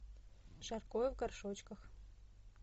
жаркое в горшочках